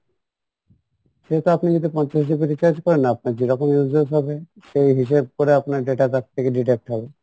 সেহেতু আপনি যদি পঞ্চাশ GB recharge করেন আপনার যেরকম uses হবে সেই হিসেব করে আপনার data pack থেকে deduct হবে